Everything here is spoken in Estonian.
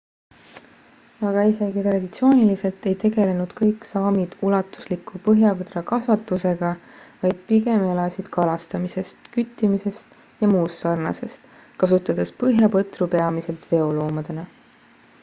aga isegi traditsiooniliselt ei tegelnud kõik saamid ulatusliku põhjapõdrakasvatusega vaid pigem elasid kalastamisest küttimisest ja muust sarnasest kasutades põhjapõtru peamiselt veoloomadena